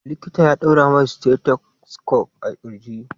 Likita ya ɗaura mai stethoscope a ƙirji.